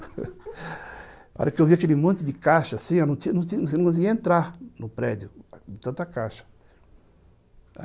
Na hora que eu vi aquele monte de caixa, assim, eu não conseguia entrar no prédio de tanta caixa.